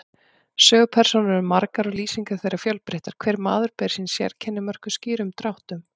Sögupersónur eru margar og lýsingar þeirra fjölbreyttar, hver maður ber sín sérkenni, mörkuð skýrum dráttum.